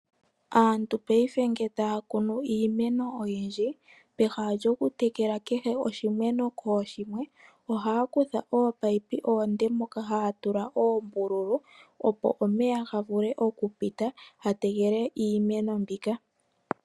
Aantu mongaashingeyi uuna taya kunu iimeno oyindji peha lyokutekela kehe oshimeno kooshimwe ohaya kutha ominino omile dhoka haya tsu oombululu opo omeya ga vule okupita ga tekele iimeno mbika.